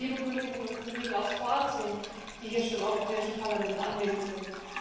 Und vor allem liebe Kolleginnen und Kollegen aus Kroatien, die hier schon im Europäischen Parlament anwesend sind!